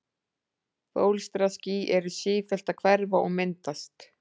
Bólstraský eru sífellt að hverfa og myndast.